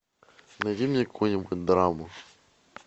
найди мне какую нибудь драму